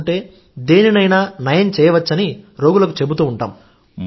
తీసుకుంటే దేనినైనా నయం చేయవచ్చని రోగులకు చెబుతూ ఉంటాం